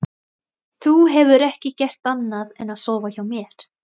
Þú hefur ekki gert annað en að sofa hjá mér.